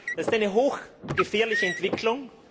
Das ist eine hochgefährliche Entwicklung.